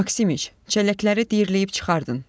Maksimiç, çəlləkləri diyirləyib çıxardın!